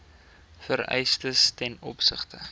vereistes ten opsigte